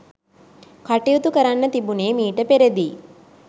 කටයුතු කරන්න තිබුණෙ මීට පෙරදියි